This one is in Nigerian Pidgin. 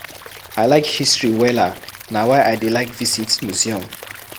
I like history wella na why I dey like visit museum